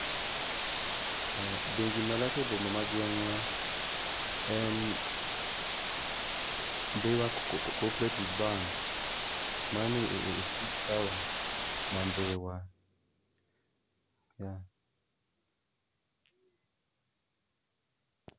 Bengi malach e boma ma gweng'wa en Ndhiwa Cooperative bank, mane e chuny taon ma ndiwa.